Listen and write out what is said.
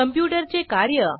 computer चे कार्य